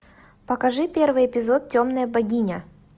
покажи первый эпизод темная богиня